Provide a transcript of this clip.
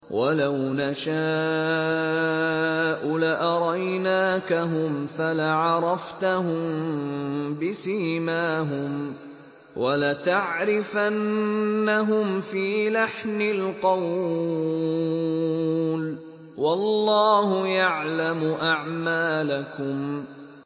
وَلَوْ نَشَاءُ لَأَرَيْنَاكَهُمْ فَلَعَرَفْتَهُم بِسِيمَاهُمْ ۚ وَلَتَعْرِفَنَّهُمْ فِي لَحْنِ الْقَوْلِ ۚ وَاللَّهُ يَعْلَمُ أَعْمَالَكُمْ